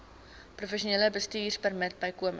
professionele bestuurpermit bykomend